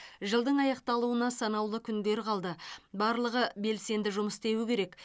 жылдың аяқталуына санаулы күндер қалды барлығы белсенді жұмыс істеуі керек